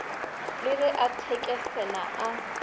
le ge a thekesela a